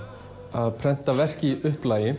að prenta verk í upplagi